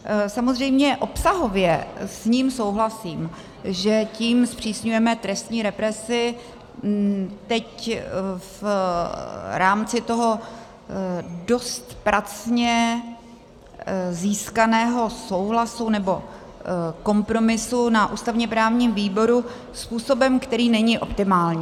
Samozřejmě obsahově s ním souhlasím, že tím zpřísňujeme trestní represi teď v rámci toho dost pracně získaného souhlasu, nebo kompromisu na ústavně-právním výboru, způsobem, který není optimální.